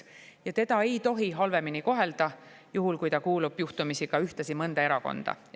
Ja teda ei tohi halvemini kohelda, kui ta kuulub juhtumisi ka ühtlasi mõnda erakonda.